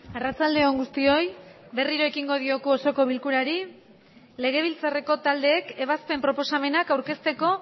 arratsalde on guztioi berriro ekin dioku osoko bilkurari legebiltzarreko taldeek ebazpen proposamenak aurkezteko